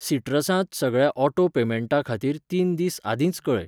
Citrus सगळ्या auto पेमेंटां खातीर तीन दीस आदींच कऴय.